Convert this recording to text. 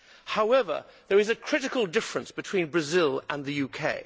However, there is a critical difference between Brazil and the UK.